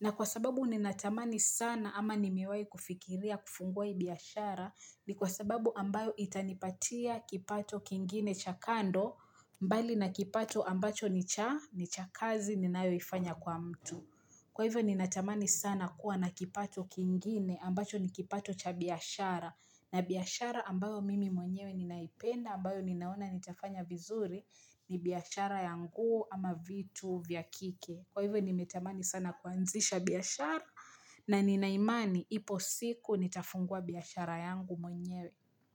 Na kwa sababu ninatamani sana ama nimewai kufikiria kufungua ii biashara ni kwa sababu ambayo itanipatia kipato kingine cha kando mbali na kipato ambacho ni cha kazi ninayoifanya kwa mtu. Kwa hivyo ninatamani sana kuwa na kipato kingine ambacho ni kipato cha biashara na biashara ambayo mimi mwenyewe ninaipenda ambayo ninaona nitafanya vizuri ni biashara ya nguo ama vitu vya kike Kwa hivyo nimetamani sana kuanzisha biashara na nina imani ipo siku nitafungua biashara yangu mwenyewe.